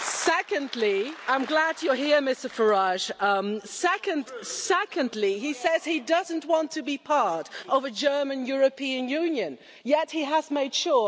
Secondly I'm glad you're here Mr Farage he says he doesn't want to be part of a German European Union, yet he has made sure that two of his children have German passports.